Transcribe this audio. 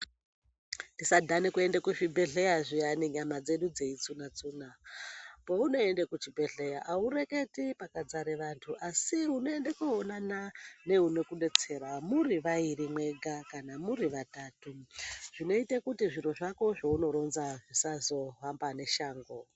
Tisadhane kuenda kuzvibhedhlera zviyani, nyama dzedu dzeitsuna-tsuna. Peunoenda kuchibhedhlera aureketi pakadzara antu, asi unoende koonana neunokudetsera, muri vairi mwega kana vatatu zvinoite kuti zviro zvako zveunoronza zvisazohamba neshango.